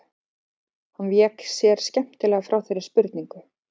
Hann vék sér skemmtilega frá þeirri spurningu.